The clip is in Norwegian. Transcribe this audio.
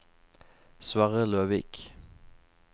Sverre Løvik